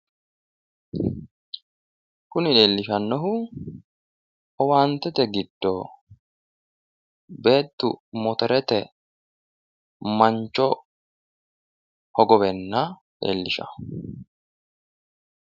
Kuni leellishannohu owaantete giddo beettu motorete mancho hogoweenna leellishawo.